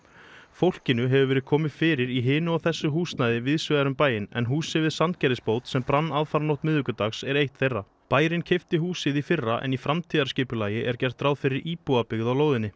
fólkinu hefur verið komið fyrir í hinu og þessu húsnæði víðs vegar um bæinn en húsið við Sandgerðisbót sem brann aðfaranótt miðvikudagsins er eitt þeirra bærinn keypti húsið í fyrra en í framtíðarskipulagi er gert ráð fyrir íbúabyggð á lóðinni